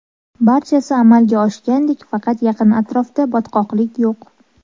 Barchasi amalga oshgandek, faqat yaqin atrofda botqoqlik yo‘q.